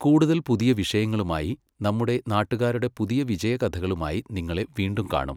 കൂടുതൽ പുതിയ വിഷയങ്ങളുമായി, നമ്മുടെ നാട്ടുകാരുടെ പുതിയ വിജയകഥളുമായി നിങ്ങളെ വീണ്ടും കാണും.